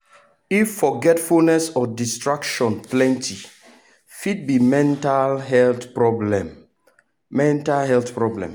if forgetfulness or distraction plenty fit be mental health problem. mental health problem.